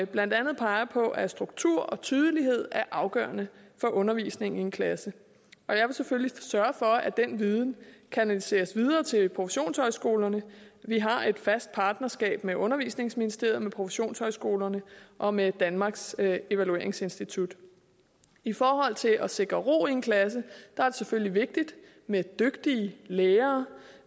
blandt andet peger på at struktur og tydelighed er afgørende for undervisningen i en klasse jeg vil selvfølgelig sørge for at den viden kanaliseres videre til professionshøjskolerne vi har et fast partnerskab med undervisningsministeriet med professionshøjskolerne og med danmarks evalueringsinstitut i forhold til at sikre ro i en klasse er det selvfølgelig vigtigt med dygtige lærere